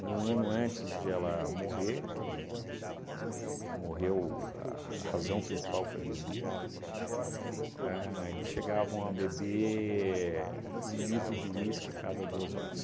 ano antes de ela morrer, que ela mo morreu a razão principal foi bebida, a eles chegavam a beber um litro de uísque cada duas horas.